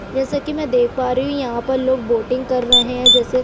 जैसा की मैं देख पा रही हूं यहाँ पर लोग बोटिंग कर रहे है जैसे --